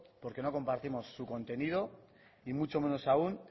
porque no compartimos su contenido y mucho menos aún